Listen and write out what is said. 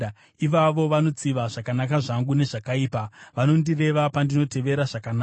Ivavo vanotsiva zvakanaka zvangu nezvakaipa, vanondireva pandinotevera zvakanaka.